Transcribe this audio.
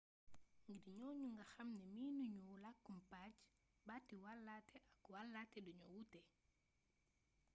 ngir ñooñule nga xam ne miinu ñu làkkum pajj baati wàllaate ak wàllaate dañoo wute